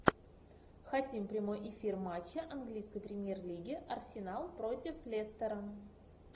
хотим прямой эфир матча английской премьер лиги арсенал против лестера